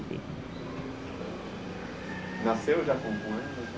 Nasceu já com com ela?